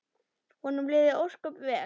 Honum liði ósköp vel.